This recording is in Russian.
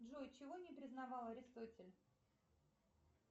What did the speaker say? джой чего не признавал аристотель